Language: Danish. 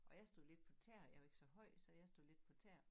Og jeg stod lidt på tæer jeg er jo ikke så høj så jeg stod lidt på tæer